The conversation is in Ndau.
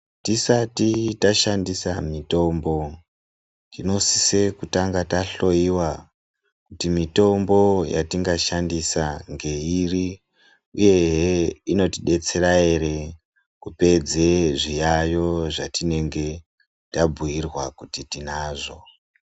Tisati tashandisa mitombo tinosisa kutanga tahloiwa kuti mitombo yatingashandisa ngeiri, uyehe inotibetsera ere, kupedze zviyayo zvatingenge tabhuirwa kuti tinazvo.